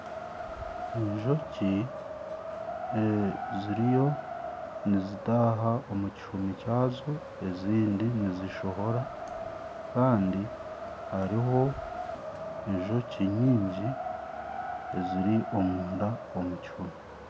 Enjoki ziriyo nizitaaha omu kihumi kyazo ezindi nizishohora kandi hariho enjoki nyingi eziri omunda omu kihumi